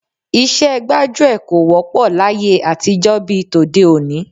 Iṣẹ́ gbájúẹ̀ kò wọ́pọ̀ láyé àtijọ́ bí i tòde òní